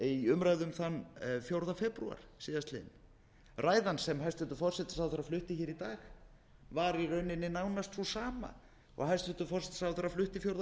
í umræðum þann fjórða febrúar síðastliðinn ræðan sem hæstvirtur forsætisráðherra flutti í dag var í rauninni nánast sú sama og hæstvirtur forsætisráðherra flutti fjórða